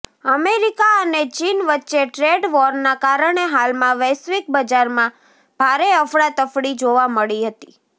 America અને ચીન વચ્ચે ટ્રેડ વોરના કારણે હાલમાં વૈશ્વિક બજારમાં ભારે અફડાતફડી જોવા મળી હતી